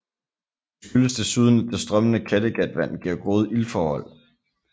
Det skyldes desuden at det strømmende Kattegatvand giver gode iltforhold